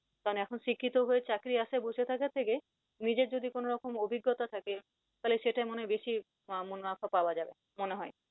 কারন এখন শিক্ষিত হয়ে চাকরির আশায় বসে থাকার থেকে নিজের যদি কোন রকম অভিজ্ঞতা থাকে তাহলে সেটাই মনে হয় বেশি পাওয়া যাবে মনে হয়।